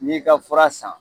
N'i ka fura san